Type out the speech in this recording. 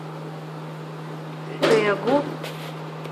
тэгу